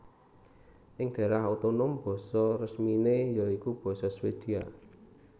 Ing daérah otonom basa resminé ya iku basa Swedia